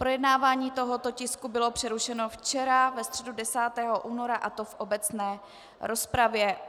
Projednávání tohoto tisku bylo přerušeno včera ve středu 10. února, a to v obecné rozpravě.